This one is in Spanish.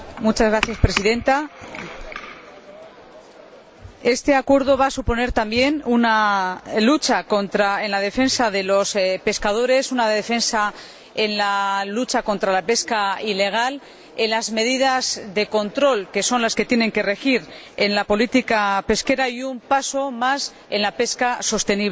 Señora Presidenta, este Acuerdo va a suponer también una lucha en defensa de los pescadores, una defensa en la lucha contra la pesca ilegal, medidas de control —que son las que tienen que regir en la política pesquera— y un paso más hacia la pesca sostenible.